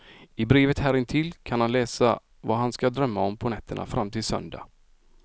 I brevet här intill kan han läsa vad han ska drömma om på nätterna fram till söndag.